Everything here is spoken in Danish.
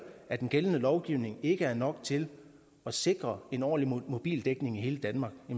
at den gældende lovgivning ikke er nok til at sikre en ordentlig mobildækning i hele danmark